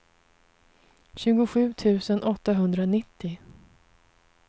tjugosju tusen åttahundranittio